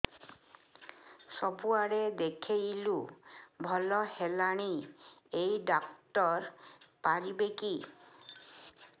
ସବୁଆଡେ ଦେଖେଇଲୁ ଭଲ ହେଲାନି ଏଇ ଡ଼ାକ୍ତର ପାରିବେ କି